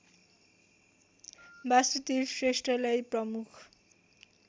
बासुदेव श्रेष्ठलाई प्रमुख